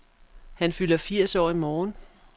Han fylder firs år i morgen.